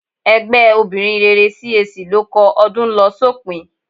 Ẹgbẹ́ obìnrin rere CAC ló kọ "Ọdún ń lọ sópin"